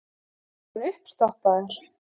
Var hann uppstoppaður?